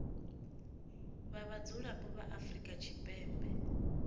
vha vhadzulapo vha afrika tshipembe